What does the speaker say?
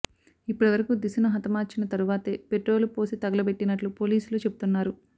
ఇప్పటి వరకు దిశను హతమార్చిన తరువాతే పెట్రోలు పోసి తగలబెట్టినట్లు పోలీసులు చెబుతున్నారు